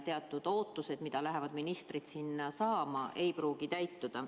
Teatud ootused raha osas, mida ministrid loodavad sealt saada, ei pruugi täituda.